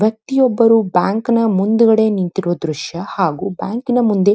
ವ್ಯಕ್ತಿಯೊಬ್ಬರು ಬ್ಯಾಂಕಿನ ಮುಂದುಗಡೆ ನಿಂತಿರುವ ದ್ರಶ್ಯ ಹಾಗೂ ಬ್ಯಾಂಕಿನ ಮುಂದೆ --